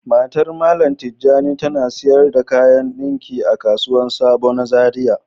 Matan mallam tijani ta na sayar da kayan ɗunki a kasuwan sabo na zaria.